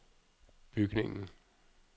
bygningen